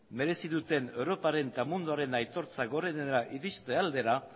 berezi duten europaren eta munduaren aitortza gorenera irizte aldera